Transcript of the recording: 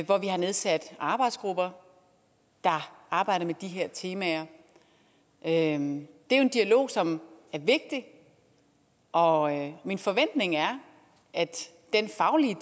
hvor vi har nedsat arbejdsgrupper der arbejder med de her temaer det er en dialog som er vigtig og min forventning er at den faglige